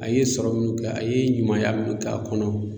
A ye sɔrɔ minnu kɛ a ye ɲumanya minnu k'a kɔnɔ.